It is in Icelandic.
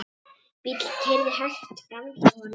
Bíll keyrði hægt framhjá honum.